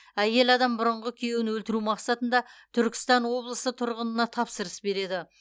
әйел адам бұрынғы күйеуін өлтіру мақсатында түркістан облысы тұрғынына тапсырыс береді